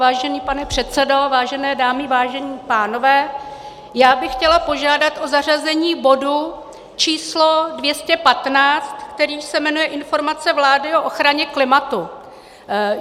Vážený pane předsedo, vážené dámy, vážení pánové, já bych chtěla požádat o zařazení bodu číslo 215, který se jmenuje Informace vlády o ochraně klimatu.